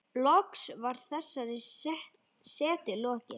Loks var þessari setu lokið.